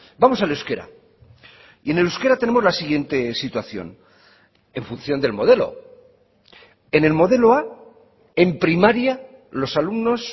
vamos al euskera y en euskera tenemos la siguiente situación en función del modelo en el modelo a en primaria los alumnos